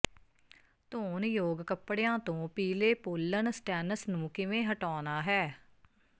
ਧੋਣਯੋਗ ਕਪੜਿਆਂ ਤੋਂ ਪੀਲੇ ਪੋਲਨ ਸਟੈਨਸ ਨੂੰ ਕਿਵੇਂ ਹਟਾਉਣਾ ਹੈ